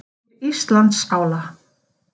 Yfir Íslandsála.